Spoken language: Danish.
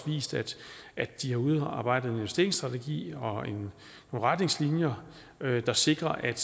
vist at at de har udarbejdet investeringsstrategier og retningslinjer der sikrer at